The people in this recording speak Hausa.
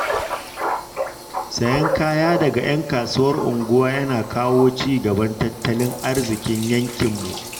Sayen kaya daga ‘yan kasuwar unguwa yana kawo ci gaban tattalin arziƙin yankinmu.